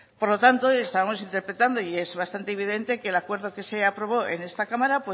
por lo tanto estábamos interpretando y es bastante evidente que el acuerdo que se aprobó en esta cámara